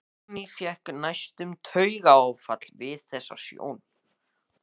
Árný fékk næstum taugaáfall við þessa sjón.